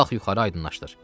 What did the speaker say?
Qalx yuxarı aydınlaşdır.